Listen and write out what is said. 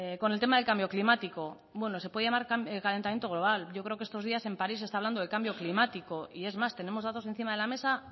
con el tema del cambio climático se puede llamar calentamiento global yo creo que estos días en parís se está hablando de cambio climático es más tenemos datos encima de la mesa